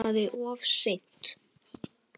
Og munað of seint.